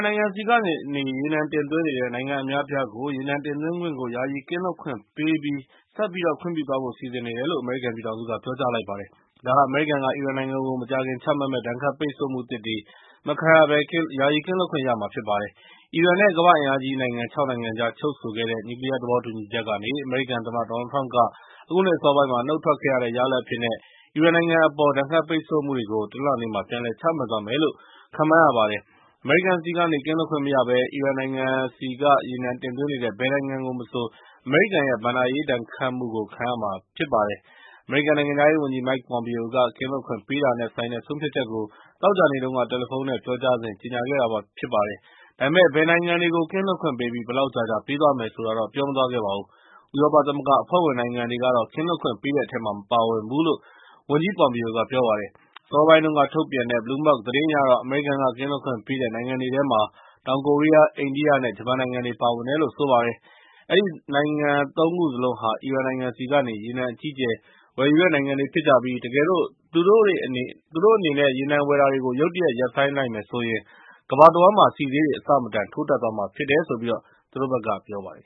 နိုင်ငံဆီကနေ ရေနံတင်သွင်းနေတဲ့ နိုင်ငံအများအပြားကို ရေနံတင်သွင်းခွင့်ကို ယာယီကင်းလွတ်ခွင့်ပေးပြီး ဆက်ပြီးခွင့်ပြုသွားဖို့ စီစဉ်နေတယ်လို့ အမေရိကန်ပြည်ထောင်စုက ပြောကြားလိုက်ပါတယ်။ ဒါဟာ အမေရိကန်က အီရန်နိုင်ငံကို မကြာခင်ချမှတ်မယ့် ဒဏ်ခတ်ပိတ်ဆို့မှုသစ်တွေ မခံရဘဲ ကင်းလွတ်ခွင့်ပေးသွားမှာဖြစ်ပါတယ်။ အီရန် နဲ့ ကမ္ဘာအင်အားကြီးနိုင်ငံ ၆ နိုင်ငံကြား ချုပ်ဆိုခဲ့တဲ့ နျူးကလီးယားသဘောတူညီချက်ကနေ အမေရိကန်သမ္မတ ဒေါ်နယ်လ်ထရမ့်က အခုနှစ်အစောပိုင်းက နုတ်ထွက်ခဲ့တဲ့ရလဒ်အဖြစ်နဲ့ အီရန်နိုင်ငံအပေါ် ဒဏ်ခတ်ပိတ်ဆို့မှုတွေကို တနင်္လာနေ့မှာ ပြန်လည်ချမှတ်သွားမယ်လို့ ခန့်မှန်းရပါတယ်။ အမေရိကန်ဆီကနေ ကင်းလွတ်ခွင့်မရဘဲ အီရန်နိုင်ငံဆီကနေ ရေနံတင်သွင်းနေတဲ့ ဘယ်နိုင်ငံမဆို အမေရိကန်ရဲ့ ဘဏ္ဍာရေး ဒဏ်ခတ်မှုကိုခံရမှာဖြစ်ပါတယ်။ အမေရိကန်နိုင်ငံခြားရေးဝန်ကြီး Mike Pompeo က ကင်းလွတ်ခွင့်ပေးတာနဲ့ ဆိုင်တဲ့ ဆုံးဖြတ်ချက်ကို သောကြာနေ့တုန်းက တယ်လီဖုန်း နဲ့ ပြောကြားစဉ်မှာ ကြေငြာခဲ့တာဖြစ်ပါတယ်။ ဒါပေမဲ့ဲ ဘယ်နိုင်ငံတွေကို ကင်းလွတ်ခွင့်ပေးပြီး၊ ဘယ်လောက်ကြာကြာပေးသွားမယ်ဆိုတာတော့ ပြောမသွားခဲ့ပါဘူး။ ဥရောပသမဂ္ဂအဖွဲ့ဝင်နိုင်ငံတွေကတော့ ကင်းလွတ်ခွင့်ပေးတဲ့အထဲမှာ မပါဝင်ဘူးလို့ သူကပြောပါတယ်။ အစောပိုင်းတုန်းကထုတ်ပြန်တဲ့ Bloomberg သတင်းအရတော့ အမေရိကန်ကင်းလွတ်ခွင့်ပေးတဲ့နိုင်ငံတွေထဲမှာ တောင်ကိုရီးယား၊ အိန္ဒိယ နဲ့ ဂျပန်နိုင်ငံတွေပါဝင်တယ်လို့ဆိုပါတယ်။ အဲဒီနိုင်ငံ ၃ ခုစလုံးဟာ အီရန်နိုင်ငံဆီကနေ ရေနံအကြီးအကျယ် ဝယ်ယူတဲ့နိုင်ငံတွေဖြစ်ကြပြီး၊ တကယ်လို့ သူတို့အနေနဲ့ ရေနံဝယ်တာတွေကို ရုတ်တရက်ရပ်ဆိုင်းလိုက်မယ်ဆိုရင်၊ ကမ္ဘာတဝှမ်းမှာ ဆီဈေးတွေအဆမတန် ထိုးတက်သွားမှာဖြစ်တယ်လို့ သူတို့ဘက်က ပြောပါတယ်